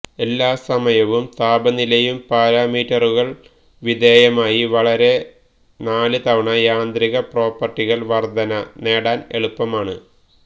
എല്ലാ സമയവും താപനിലയും പാരാമീറ്ററുകൾ വിധേയമായി വളരെ നാല് തവണ യാന്ത്രിക പ്രോപ്പർട്ടികൾ വർധന നേടാൻ എളുപ്പമാണ്